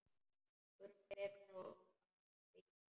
Förum frekar að byggja aftur.